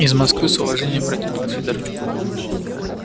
из москвы с уважением протянул федорчук